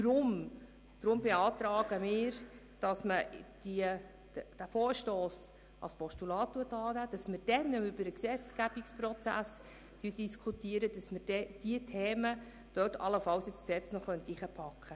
Deshalb beantragen wir, dass dieser Vorstoss als Postulat angenommen wird, um dann, wenn über den Gesetzgebungsprozess diskutiert werden wird, diese Themen allenfalls ins Gesetz zu integrieren.